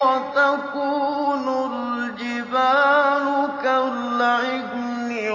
وَتَكُونُ الْجِبَالُ كَالْعِهْنِ